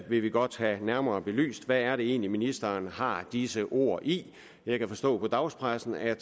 vil vi godt have nærmere belyst hvad er det egentlig ministeren har at disse ord i jeg kan forstå på dagspressen at